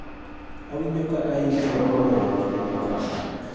Awinjo ka ayikre moloyo kinde mokalo